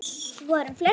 Svo er um fleiri.